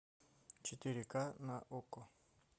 четыре к на окко